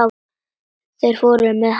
Svo fóru þeir með hann.